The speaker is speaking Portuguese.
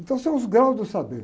Então são os graus do saber.